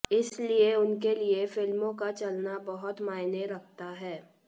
इसलिए उनके लिए फिल्मों का चलना बहुत मायने रखता है